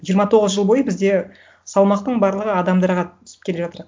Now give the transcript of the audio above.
жиырма тоғыз жыл бойы бізде салмақтың барлығы адамдарға түсіп келе жатыр